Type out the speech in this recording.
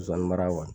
Zonzani mara wa